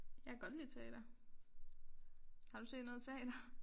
Jeg kan godt lide teater har du set noget teater